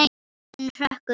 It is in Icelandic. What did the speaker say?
Hurðin hrökk upp!